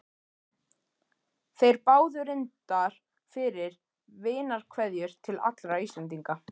Þeir báðu reyndar fyrir vinarkveðjur til allra Íslendinga.